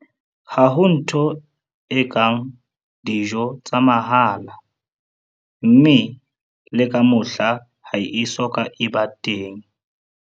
Ha ho ntho e kang 'dijo tsa mahala', mme le ka mohla ha e so ka ba e ba teng!